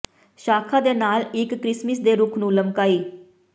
ਸ਼ਾਖਾ ਦੇ ਨਾਲ ਇੱਕ ਕ੍ਰਿਸਮਸ ਦੇ ਰੁੱਖ ਨੂੰ ਲਮਕਾਈ